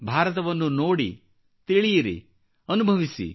ಭಾರತವನ್ನು ನೋಡಿ ತಿಳಿಯಿರಿ ಮತ್ತು ಅನುಭವಿಸಿ